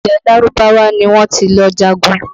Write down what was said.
Ilẹ̀ Lárúbáwá ni wọ́n ti lọ jagun